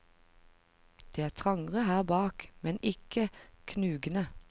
Det er trangere her bak, men ikke knugende.